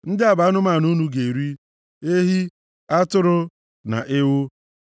Ndị a bụ anụmanụ unu ga-eri: ehi, atụrụ, na ewu,